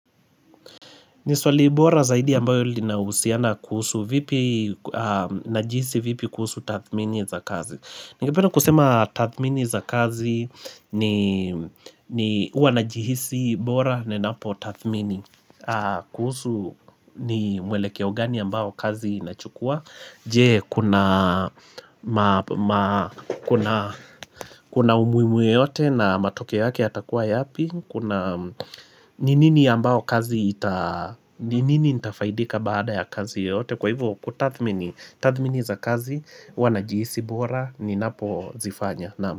Ni swali bora zaidi ambalo linahusiana kuhusu vipi na jinsi vipi kuhusu tathmini za kazi. Ningependa kusema tathmini za kazi huwa najihisi bora ninapo tathmini kuhusu ni mwelekeo gani ambao kazi inachukua Je? Kuna umuhimu wowote na matokeo yake yatakuwa yapi? Kuna Ninini nitafaidika baada ya kazi yoyote kwa hivo tathmini za kazi huwa najihisi bora ninapozifanya.